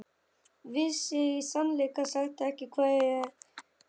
Vissi í sannleika sagt ekki hvað ég átti að segja.